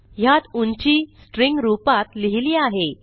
ह्यात उंची स्ट्रिंग रूपात लिहिली आहे